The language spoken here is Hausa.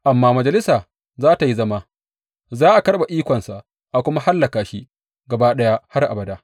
Amma majalisa za tă yi zama, za a karɓe ikonsa, a kuma hallaka shi gaba ɗaya har abada.